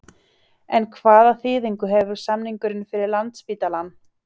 En hvaða þýðingu hefur samningurinn fyrir Landspítalann?